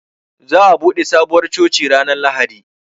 Zaa bude Sabuwar coci ranar Lahadi.